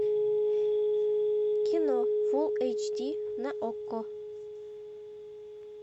кино фулл эйч ди на окко